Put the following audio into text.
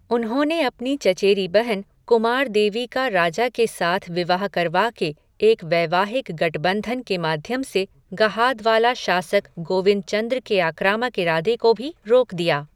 उन्होंने अपनी चचेरी बहन कुमारदेवी का राजा के साथ विवाह करवा के एक वैवाहिक गठबंधन के माध्यम से गहादवाला शासक गोविंदचंद्र के आक्रामक इरादे को भी रोक दिया।